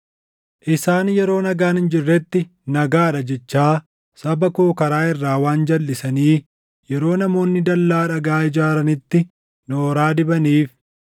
“ ‘Isaan yeroo nagaan hin jirretti, “Nagaa dha” jechaa saba koo karaa irraa waan jalʼisanii yeroo namoonni dallaa dhagaa ijaaranitti nooraa dibaniif,